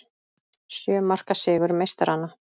Sjö marka sigur meistaranna